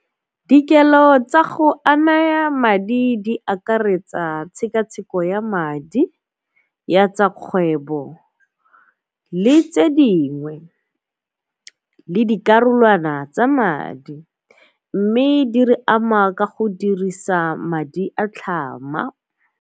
Dikelo tsa go a naya madi di akaretsa tshekatsheko ya madi ya tsa kgwebo le tse dingwe le dikarolwana tsa madi mme di re ama ka go dirisa madi a tlhama.